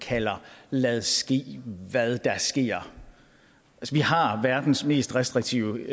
kalder lade ske hvad der sker vi har verdens mest restriktive